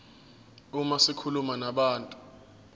uma zikhuluma nabantu